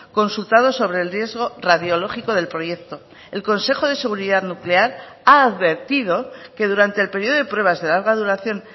consultados sobre el riesgo radiológico del proyecto el consejo de seguridad nuclear ha advertido que durante el periodo de pruebas de larga duración